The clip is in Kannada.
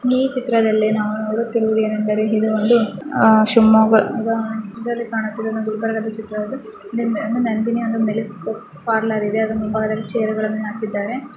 ಈ ಚಿತ್ರದಲ್ಲಿ ನಾವು ನೋಡುತ್ತಿರುವುದು ಏನೆಂದರೆ ಇದು ಒಂದು ಅಹ್ ಶಿವಮೊಗ್ಗದ ಇದರಲ್ಲಿ ಕಾಣುತ್ತಿರುವುದು ಗುಲ್ಬರ್ಗದ ಚಿತ್ರವಾಗಿದೆ. ಇಲ್ಲಿ ನಂದಿನಿಯ ಒಂದು ಮಿಲ್ಕ್ ಪಾರ್ಲರ್ ಇದೆ ಅದರ ಮುಂಭಾಗದಲ್ಲಿ ಚೇರ್ ಗಳನ್ನ ಹಾಕಿದ್ದಾರೆ.